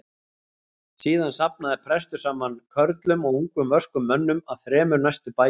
Síðan safnaði prestur saman körlum og ungum vöskum mönnum af þrem næstu bæjum.